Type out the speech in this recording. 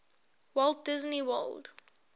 walt disney world